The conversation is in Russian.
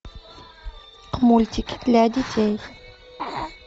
мультики для детей